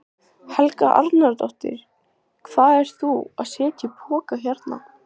Helga Arnardóttir: Hvað ert þú að setja í poka hérna?